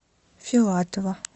филатова